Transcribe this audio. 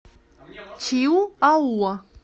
чиуауа